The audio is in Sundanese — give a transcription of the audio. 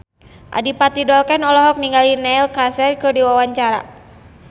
Adipati Dolken olohok ningali Neil Casey keur diwawancara